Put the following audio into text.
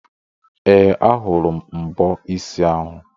Ee, a hụrụ m mbọ isi ahụ.